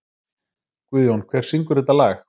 Guðjón, hver syngur þetta lag?